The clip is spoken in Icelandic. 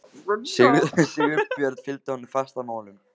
Sigurbjörn fylgdi honum fast að málum.